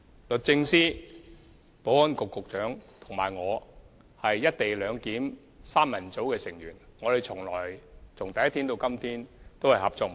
律政司司長、保安局局長和我是"一地兩檢"三人組的成員，由第一天開始至今一直合作無間。